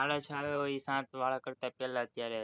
સાડા છ આવ્યા હોય એ સાત વાળા તો